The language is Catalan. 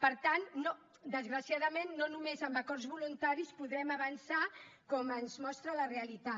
per tant desgraciadament no només amb acords voluntaris podrem avançar com ens mostra la realitat